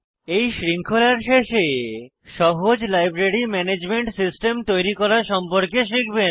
এই শৃঙ্খলার শেষে সহজ লাইব্রেরি ম্যানেজমেন্ট সিস্টেম তৈরি করা সম্পর্কে শিখবেন